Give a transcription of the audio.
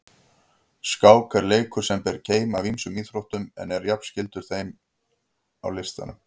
Skák er leikur sem ber keim af ýmsum íþróttum en er jafnframt skyld listunum.